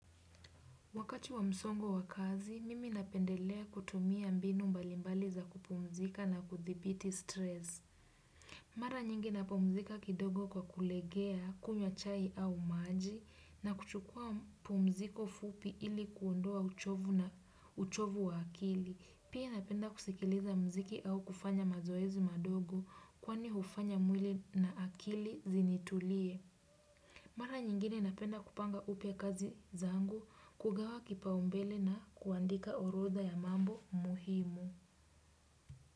Wakati wa msongo wa kazi, mimi napendelea kutumia mbinu mbalimbali za kupumzika na kudhibiti stress. Mara nyingi napumzika kidogo kwa kulegea kunywa chai au maji na kuchukua pumziko fupi ili kuondoa uchovu na uchovu wa akili. Pia napenda kusikiliza mziki au kufanya mazoezu madogo kwani hufanya mwili na akili zinitulie. Mara nyingine napenda kupanga upya kazi zangu kugawa kipaumbele na kuandika orodha ya mambo muhimu.